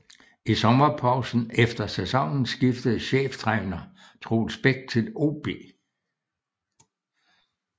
I sommerpausen efter sæsonen skiftede cheftræner Troels Bech til OB